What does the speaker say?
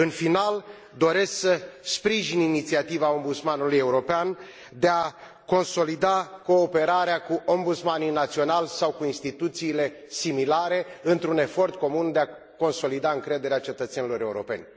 În final, doresc să sprijin inițiativa Ombudsmanului European de a consolida cooperarea cu ombudsmanii naționali sau cu instituțiile similare, într un efort comun de a consolida încrederea cetățenilor europeni.